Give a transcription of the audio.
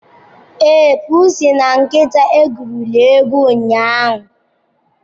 Ee, pusi na nkịta egwurili egwu ụnyahụ.